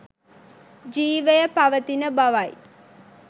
ජිවය පවතින බවයි